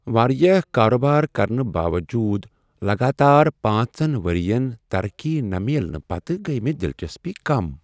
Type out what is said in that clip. واریاہ کاربار کرنہ باوجود لگاتار پانژن ؤرین ترقی نہٕ میلنہٕ پتہٕ گٔیۍ مےٚ دلچسپی کم۔